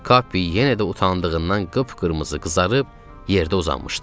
Kapi yenə də utandığından qıpqırmızı qızarıb yerdə uzanmışdı.